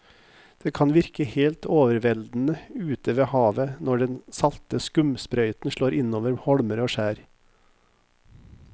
Det kan virke helt overveldende ute ved havet når den salte skumsprøyten slår innover holmer og skjær.